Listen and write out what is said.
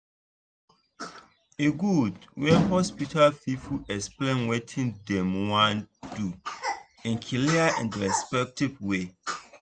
e good when hospital people explain wetin dem wan do in clear and respectful way.